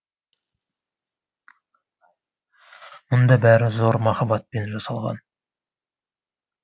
мұнда бәрі зор махаббатпен жасалған